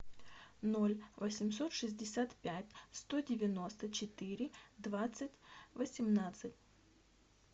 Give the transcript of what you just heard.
ноль восемьсот шестьдесят пять сто девяносто четыре двадцать восемнадцать